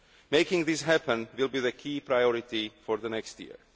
Making this happen will be the key priority for next year.